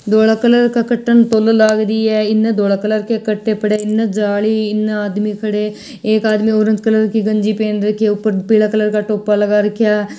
धोले कलर के कटे में तोलण लाग री है इने जाली इन आदमी खड़े एक आदमी ऑरेंज कलर की गंजी पहन रखी ऊपर पीला कलर का टोपा लगा राखी है।